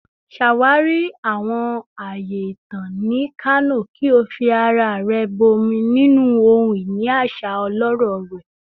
Ṣawari awọn aaye itan ni Kano ki o fi ara rẹ bọmi ninu ohun-ini aṣa ọlọrọ rẹ